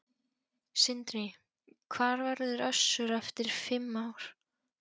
Sindri: Hvar verður Össur eftir fimm ár?